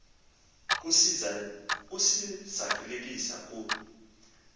kusi zalisekisa ku